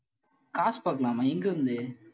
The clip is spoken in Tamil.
காசு பார்க்கலாமா? எங்க இருந்து?